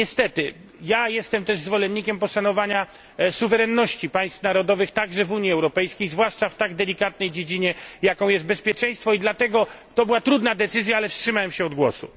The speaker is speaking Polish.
Niestety, jestem też zwolennikiem poszanowania suwerenności państw narodowych, także w Unii Europejskiej zwłaszcza w tak delikatnej dziedzinie, jaką jest bezpieczeństwo i dlatego to była trudna decyzja, ale wstrzymałem się od głosu.